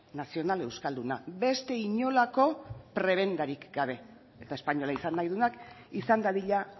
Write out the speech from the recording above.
nazional euskalduna beste inolako prebendarik gabe eta espainola izan nahi duenak izan dadila